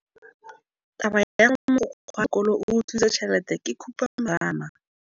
Taba ya gore mogokgo wa sekolo o utswitse tšhelete ke khupamarama.